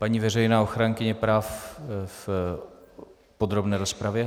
Paní veřejná ochránkyně práv v podrobné rozpravě.